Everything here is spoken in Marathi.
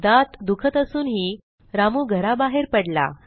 दात दुखत असूनही रामू घराबाहेर पडला